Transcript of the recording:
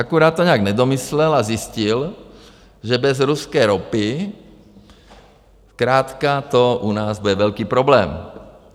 Akorát to nějak nedomyslel a zjistil, že bez ruské ropy zkrátka to u nás bude velký problém.